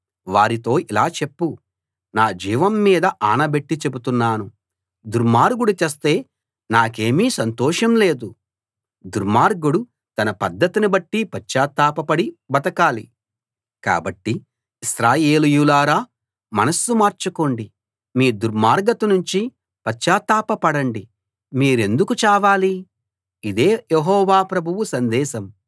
వారితో ఇలా చెప్పు నా జీవం మీద ఆనబెట్టి చెబుతున్నాను దుర్మార్గుడు చస్తే నాకేమీ సంతోషం లేదు దుర్మార్గుడు తన పద్ధతిని బట్టి పశ్చాత్తాపపడి బతకాలి కాబట్టి ఇశ్రాయేలీయులారా మనస్సు మార్చుకోండి మీ దుర్మార్గతనుంచి పశ్చాత్తాప పడండి మీరెందుకు చావాలి ఇదే యెహోవా ప్రభువు సందేశం